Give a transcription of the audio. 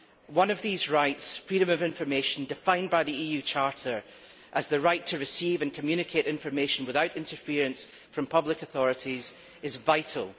One of these rights freedom of information, defined by the EU Charter as the right to receive and communicate information without interference from public authorities is vital.